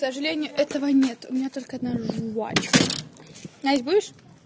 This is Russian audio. к сожалению этого нет у меня только одна жвачка настя будешь